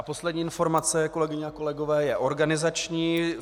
A poslední informace, kolegyně a kolegové, je organizační.